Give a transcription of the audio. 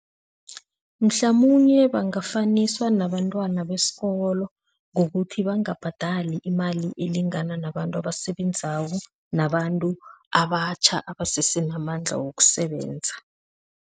Mhlamunye bangafaniswa nabantwana besikolo ngokuthi bangabhadali imali elingana nabantu abasebenzako, nabantu abatjha abasese namandla wokusebenza.